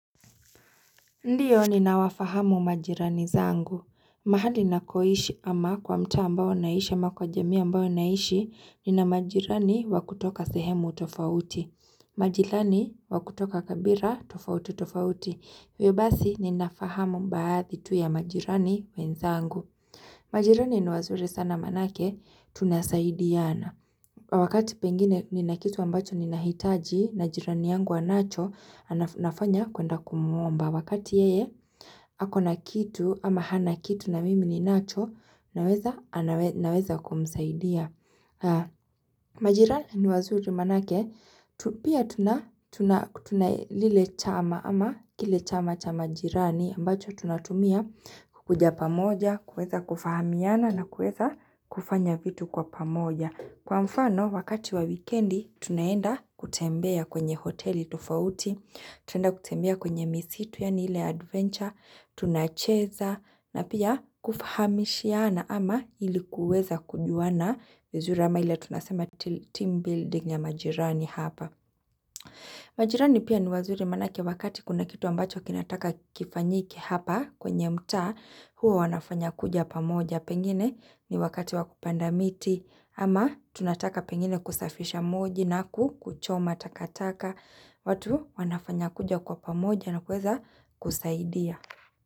Ndio ninawafahamu majirani zangu. Mahali nakoishi ama kwa mtaa ambao naishi ama kwa jamii ambayo naishi ninamajirani wa kutoka sehemu tofauti. Majirani wakutoka kabira tofauti tofauti. Hivyo basi ninafahamu baadhi tu ya majirani wenzangu. Majirani ni wazuri sana manake, tunasaidiana. Wakati pengine ni na kitu ambacho ni nahitaji, na jirani yangu anacho, nafanya kuenda kumuomba. Wakati yeye ako na kitu ama hana kitu na mimi ninacho, naweza kumsaidia. Majirani ni wazuri manake Pia tunalile chama ama kile chama cha majirani ambacho tunatumia kukuja pamoja kuweza kufahamiana na kuweza kufanya vitu kwa pamoja Kwa mfano wakati wa wikendi Tunaenda kutembea kwenye hoteli tofauti Tunaenda kutembea kwenye misitu yaani ile adventure Tunacheza na pia kufahamishiana ama ili kuweza kujua na uzur ama ila tunasema team building ya majirani hapa. Majirani pia ni wazuri manake wakati kuna kitu ambacho kinataka kifanyike hapa kwenye mtaa, huwa wanafanya kuja pamoja pengine ni wakati wa kupanda miti, ama tunataka pengine kusafisha moji na kuchoma takataka, watu wanafanya kuja kwa pamoja na kuweza kusaidia.